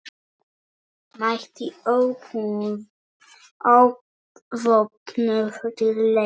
Mætti óvopnuð til leiks.